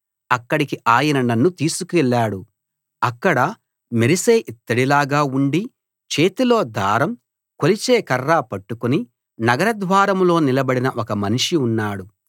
అక్కడికి ఆయన నన్ను తీసుకెళ్ళాడు అక్కడ మెరిసే ఇత్తడిలాగా ఉండి చేతిలో దారం కొలిచే కర్ర పట్టుకుని నగర ద్వారంలో నిలబడిన ఒక మనిషి ఉన్నాడు